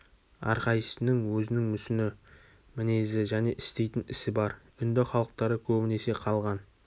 әрқайсысының өзінің мүсіні мінезі және істейтін ісі бар үнді халықтары көбінесе қалған